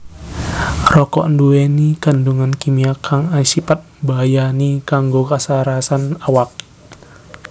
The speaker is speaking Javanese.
Rokok nduwèni kandhungan kimia kang asipat mbahayani kanggo kasarasan awak